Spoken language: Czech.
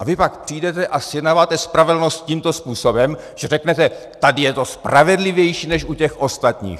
A vy pak přijdete a zjednáváte spravedlnost tímto způsobem, že řeknete, tady je to spravedlivější než u těch ostatních.